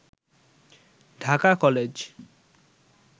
Dhaka college